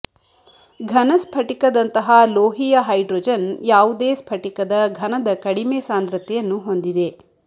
ಘನ ಸ್ಫಟಿಕದಂತಹ ಲೋಹೀಯ ಹೈಡ್ರೋಜನ್ ಯಾವುದೇ ಸ್ಫಟಿಕದ ಘನದ ಕಡಿಮೆ ಸಾಂದ್ರತೆಯನ್ನು ಹೊಂದಿದೆ